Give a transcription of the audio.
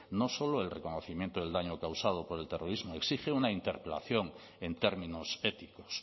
no solo el reconocimiento del daño causado por el terrorismo exige una interpelación en términos éticos